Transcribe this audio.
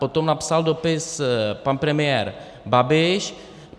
Potom napsal dopis pan premiér Babiš.